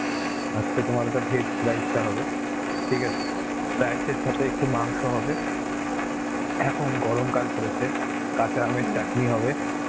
আজকে তোমার ওটা veg rice টা হবে. ঠিক আছে. rice এর সাথে একটু মাংস হবে. এখন গরমকাল পড়েছে, কাঁচা আমের চাটনি হবে.